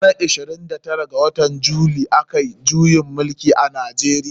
A ranar ishirin da shida ga watan july. a kayi juyin mulki a nijar.